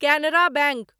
Canara bank